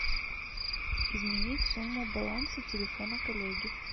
изменить сумму баланса телефона коллеги